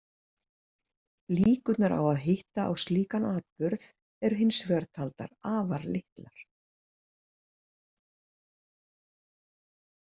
Líkurnar á að hitta á slíkan atburð eru hins vegar taldar afar litlar.